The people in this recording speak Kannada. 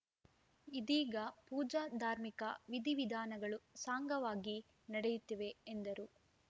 ಇದೀಗ ಪೂಜಾ ಧಾರ್ಮಿಕ ವಿಧಿವಿಧಾನಗಳು ಸಾಂಗವಾಗಿ ನಡೆಯುತ್ತಿವೆ ಎಂದರು